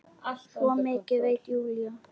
Svo mikið veit Júlía.